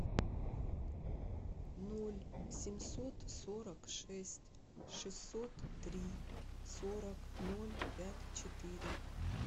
ноль семьсот сорок шесть шестьсот три сорок ноль пять четыре